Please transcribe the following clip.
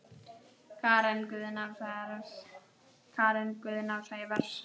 Karen Guðna og Sævars